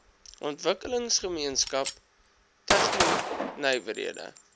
ontwikkelingsgemeenskap tegno nywerhede